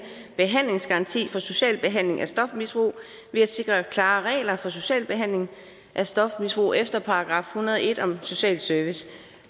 behandlingsgaranti for social behandling af stofmisbrug ved at sikre klare regler for social behandling af stofmisbrug efter § en hundrede og en om social service